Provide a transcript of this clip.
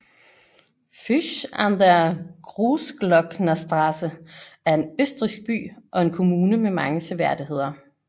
Fusch an der Großglocknerstraße er en østrigsk by og kommune med mange seværdigheder